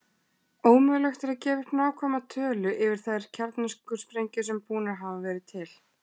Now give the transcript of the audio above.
Ómögulegt er að gefa upp nákvæma tölu yfir þær kjarnorkusprengjur sem búnar hafa verið til.